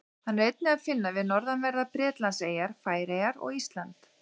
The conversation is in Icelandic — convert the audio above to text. Hann er einnig að finna við norðanverðar Bretlandseyjar, Færeyjar og Ísland.